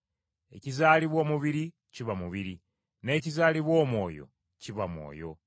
Ekizaalibwa omubiri kiba mubiri, n’ekizaalibwa Omwoyo kiba mwoyo.